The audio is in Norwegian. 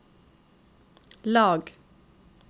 lag